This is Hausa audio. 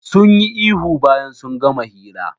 Sunyi ihu bayan sun gama hira.